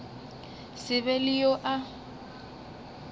se be le yo a